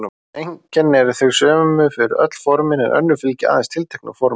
Sum einkennin eru þau sömu fyrir öll formin en önnur fylgja aðeins tilteknu formi.